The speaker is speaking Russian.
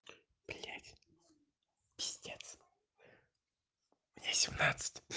блядь пиздец мне семнадцать